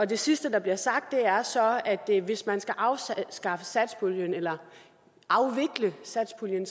det sidste der bliver sagt er så at hvis man skal afskaffe satspuljen eller afvikle satspuljen